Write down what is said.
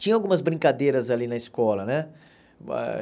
Tinha algumas brincadeiras ali na escola, né? Ah